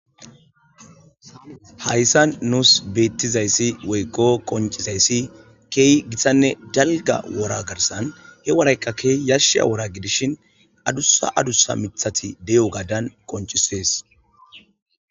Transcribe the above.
hayssan nuus beettizayssi woykqo qoncizayssi keey githanne dalga wora garsan he woraykka keey yashsha wora gidishin adussa adusa mithati de7o gaadan qoncisees